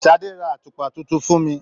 Sadé rà àtùpà títún fún mí.